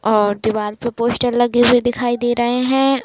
अ डिवाल (दीवार) पे पोस्टर लगे हुए दिखाई दे रहे हैं।